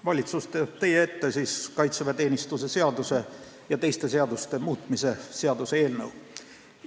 Valitsus toob teie ette kaitseväeteenistuse seaduse ja teiste seaduste muutmise seaduse eelnõu.